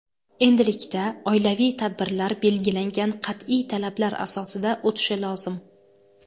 Endilikda oilaviy tadbirlar belgilangan qat’iy talablar asosida o‘tishi lozim.